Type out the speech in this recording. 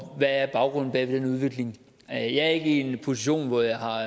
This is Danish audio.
hvad baggrunden er for den udvikling jeg er ikke i en position hvor jeg har